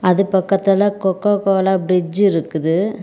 அது பக்கத்துல Coca Cola fridge இருக்குது.